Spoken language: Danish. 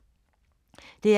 DR1